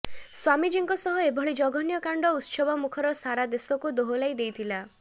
ସ୍ୱାମୀଜୀଙ୍କ ସହ ଏଭଳି ଜଘନ୍ୟ କାଣ୍ଡ ଉତ୍ସବ ମୁଖର ସାରା ଦେଶକୁ ଦୋହଲାଇ ଦେଇଥିଲା